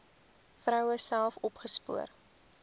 vroue self opgespoor